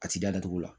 A ti da da datugu